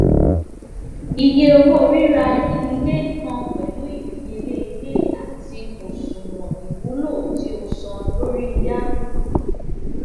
iye owo rira ile kan pẹlu idiyele ile ati oṣuwọn iwulo ti o san lori yá